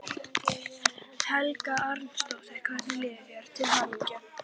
Helga Arnardóttir: Hvernig líður þér, til hamingju?